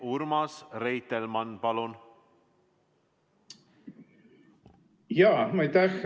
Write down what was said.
Urmas Reitelmann, palun!